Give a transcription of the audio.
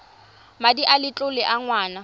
madi a letlole a ngwana